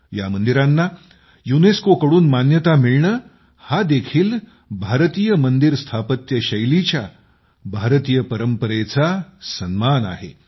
या मंदिरांना युनेस्कोकडून मान्यता मिळणे हा देखील भारतीय मंदिर स्थापत्य शैलीच्या भारतीय परंपरेचा सन्मान आहे